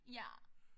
Ja